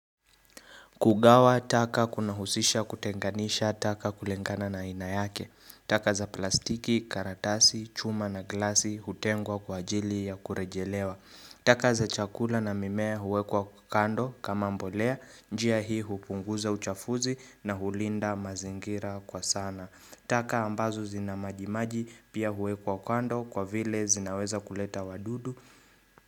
Kugawa, taka kuna husisha kutenganisha, taka kulingana na aina yake, taka za plastiki, karatasi, chuma na glasi, hutengwa kwa ajili ya kurejelewa, taka za chakula na mimea huwekwa kando kama mbolea, njia hii hupunguza uchafuzi na hulinda mazingira kwa sana, taka ambazo zina majimaji pia huwekwa kando kwa vile zinaweza kuleta wadudu.